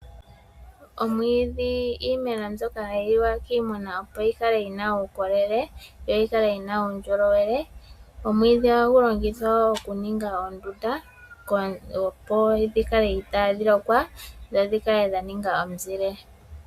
Omwiidhi iimeno mbyoka hayi liwa kiimuna opo yi kale yina uukolele, yo yi kale yina uundjolowele. Omwiidhi ohagu longithwa oku ninga oondunda opo dhi kale itaadhi lokwa, dho dhi kale dha ninga omuzile.